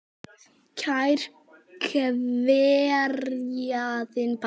Kær kveðja, þinn pabbi.